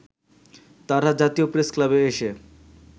তারা জাতীয় প্রেসক্লাবে এসে